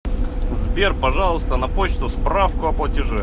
сбер пожалуйста на почту справку о платеже